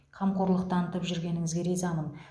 қамқорлық танытып жүргеніңізге ризамын